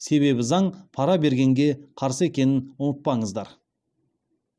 себебі заң пара бергенге қарсы екенін ұмытпаңыздар